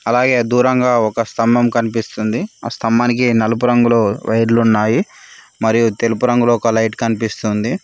అలాగే దూరంగా ఒక స్తంభం కనిపిస్తుంది ఆ స్థంబానికి నలుపు రంగులో వైర్లు ఉన్నాయి మరియు తెలుపు రంగులో ఒక లైట్ కనిపిస్తుంది.